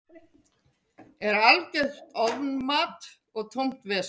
Er algjört ofmat og tómt vesen.